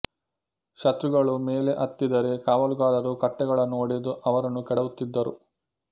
ಶತ್ರುಗಳು ಮೇಲೆ ಹತ್ತಿದರೆ ಕಾವಲುಗಾರರು ಕಟ್ಟೆಗಳನ್ನು ಒಡೆದು ಅವರನ್ನು ಕೆಡವುತ್ತಿದ್ದರು